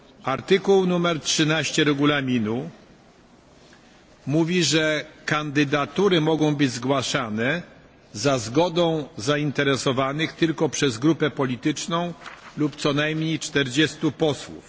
Artykuł 13 Regulaminu mówi, że kandydatury mogą być zgłaszane za zgodną zainteresowanych tylko przez grupę polityczną lub co najmniej 40 posłów.